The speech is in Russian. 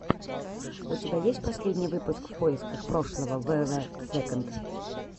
у тебя есть последний выпуск в поисках прошлого вв сэконд